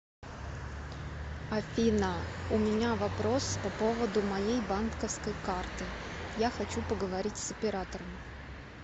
афина у меня вопрос по поводу моей банковской карты я хочу поговорить с оператором